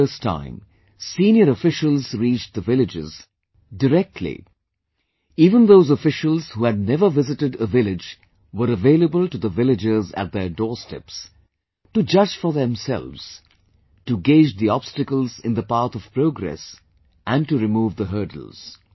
For the first time, senior officials reached the villages, directly, even those officials who had never visited a village were available to the villagers at their doorsteps, to judge for themselves to gauge the obstacles in the path of progress and to remove the hurdles